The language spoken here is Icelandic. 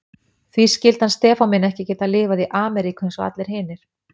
Því skyldi hann Stefán minn ekki geta lifað í Ameríku eins og allir hinir.